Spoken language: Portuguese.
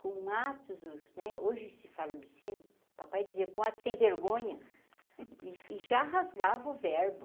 Com atos né, hoje se fala o obsceno, o papai dizia com atos sem vergonha e já rasgava o verbo.